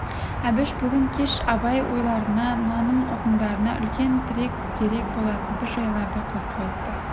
әбіш бүгін кеш абай ойларына наным ұғымдарына үлкен тірек дерек болатын бір жайларды қосып айтты